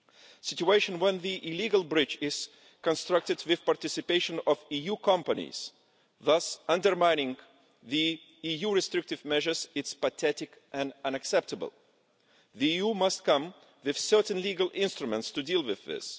The situation in which the illegal bridge is constructed with the participation of EU companies, thus undermining EU restrictive measures, is pathetic and unacceptable. The EU must come up with specific legal instruments to deal with this.